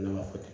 Ne ma fɔ ten